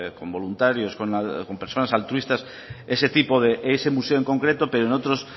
con voluntarios con personas altruistas ese museo en concreto pero